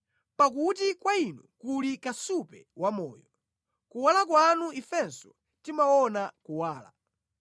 Pakuti kwa Inu kuli kasupe wamoyo; mʼkuwala kwanu ifenso timaona kuwala.